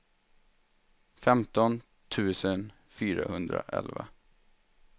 femton tusen fyrahundraelva